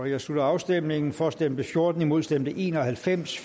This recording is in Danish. jeg slutter afstemningen for stemte fjorten imod stemte en og halvfems